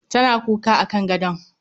Tana kuka akan gadon